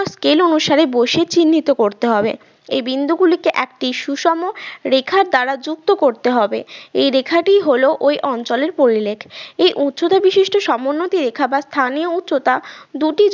scale অনুসারে বসিয়ে চিহ্নিত করতে হবে এই বিন্দুগুলিকে একটি সুষম রেখার দ্বারা যুক্ত করতে হবে এই রেখাটি হল ওই অঞ্চলের পরিলেখ এই উচ্চতা বিশিষ্ট সমোন্নতি রেখা বা স্থানে উচ্চতা দুটি